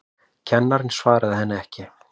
Kennarinn svaraði henni ekki.